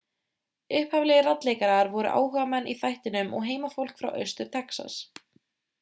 upphaflegir raddleikarar voru áhugamenn í þættinum og heimafólk frá austur-texas